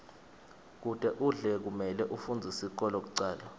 kute udlale kumele ufundze sikolo kucala